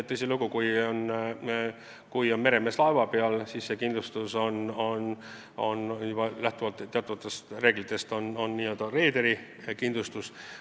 Tõsilugu, kui on meremees laeva peal, siis see kindlustus on lähtuvalt teatud reeglitest n-ö reederikindlustus.